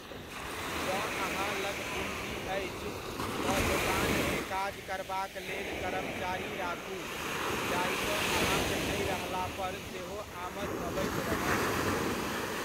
जँ अहाँ लग पूँजी अछि, तऽ दोकानमे काज करबाक लेल कर्मचारी राखू जाहिसँ अहाँक नहि रहला पर सेहो आमद अबैत रहत।